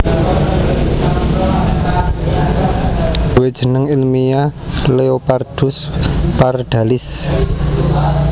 Duwe jeneng ilmiyah Leopardus Pardalis